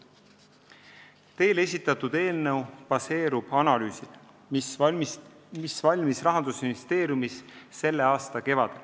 Teile esitatud eelnõu baseerub analüüsil, mis valmis Rahandusministeeriumis selle aasta kevadel.